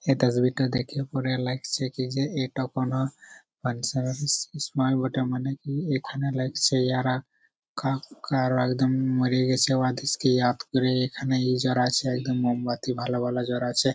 এটা ছবিটা দেখা পরে লাগছে কি যে এইটা কোনো |এখানে লাগছে এরা কাকড়া ওরা মরে গেছে ওদের ইয়াদ করে মোমবাতি ভালো ভালো জ্বালাচ্ছে ।